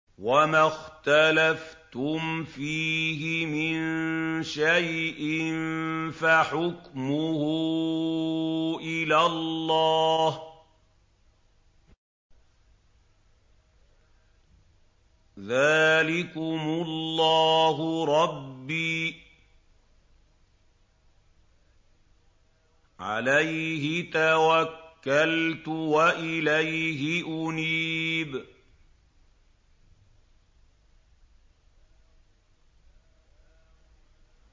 وَمَا اخْتَلَفْتُمْ فِيهِ مِن شَيْءٍ فَحُكْمُهُ إِلَى اللَّهِ ۚ ذَٰلِكُمُ اللَّهُ رَبِّي عَلَيْهِ تَوَكَّلْتُ وَإِلَيْهِ أُنِيبُ